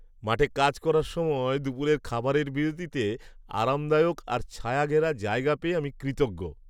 মাঠে কাজ করার সময় দুপুরের খাবারের বিরতিতে আরামদায়ক আর ছায়াঘেরা জায়গা পেয়ে আমি কৃতজ্ঞ।